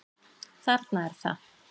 Þarna er það!